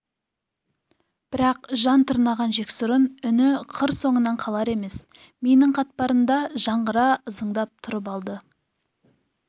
бірақ жан тырнаған жексұрын үні қыр соңынан қалар емес миының қатпарында жаңғыра ызыңдап тұрып алды